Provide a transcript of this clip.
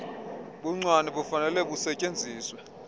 buncwane bufanele busetyenziswe